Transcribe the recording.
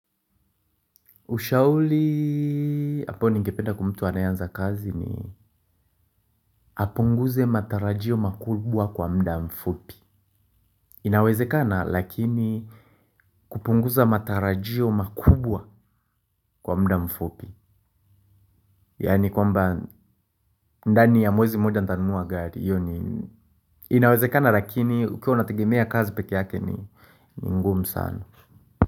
Ushauri ambao ningempa mtu anaye anza kazi ni apunguze matarajio makubwa kwa muda mfupi. Inawezekana lakini kupunguza matarajio makubwa kwa muda mfupi. Yani kwamba ndani ya mwezi moja nitanumua gari. Inawezekana lakini ukiwa unategemea kazi peke yake ni ngumu sana.